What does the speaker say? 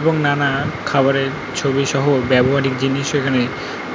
এবং নানা খাবারের ছবিসহ ব্যবহারিক জিনিস এখানে